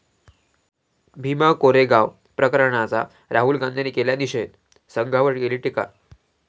भीमा कोरेगाव प्रकरणाचा राहुल गांधींनी केला निषेध, संघावर केली टीका